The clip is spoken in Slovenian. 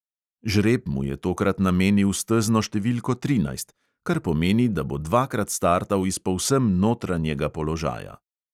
Žreb mu je tokrat namenil stezno številko trinajst, kar pomeni, da bo dvakrat startal iz povsem notranjega položaja.